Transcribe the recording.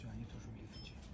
Canım niyə duruşulmayıb ki?